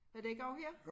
Er det ikke og her